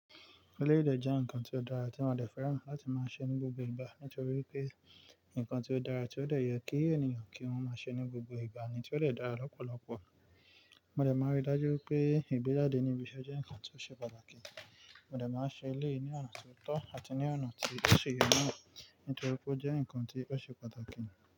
Eleyi dè jẹ́ nkankan tó dára tí mo dè fẹ́ràn láti máa ṣe ní gbogbo ìgbà nítorí pé ǹkan tó dára tí ó lè yọ kí ènìyàn kí wọ́n máa ṣe ní gbogbo ìgbà ni tí ó de dára lọ́pọ̀lọpọ̀. Mo de máa rí dájú pé ìgbejádé níbi iṣẹ́ jẹ́ nkan tó ṣe pàtàkì. Mo de máa ṣe elee yì ní ọ̀nà tó tọ́ àti ní ọ̀nà tí ó ṣe yínmọ́ nítorí pé ó jẹ́ ǹkan tí ó ṣe pàtàkì.